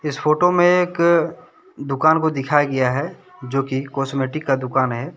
Photo में एक दुकान को दिखाई गया है जोकि कॉस्मेटिक का दुकान है ।